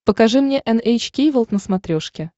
покажи мне эн эйч кей волд на смотрешке